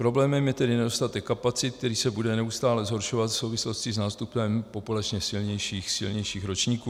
Problémem je tedy nedostatek kapacit, který se bude neustále zhoršovat v souvislosti s nástupem populačně silnějších ročníků.